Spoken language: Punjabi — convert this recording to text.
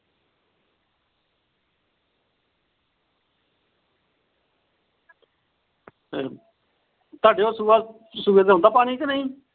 ਤੁਹਾਡੇ ਵੱਲ ਸੂਹੇ ਤੇ ਹੁੰਦਾ ਪਾਣੀ ਕ ਨਹੀਂ